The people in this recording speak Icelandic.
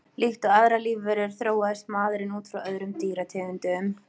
Líkt og aðrar lífverur þróaðist maðurinn út frá öðrum dýrategundum.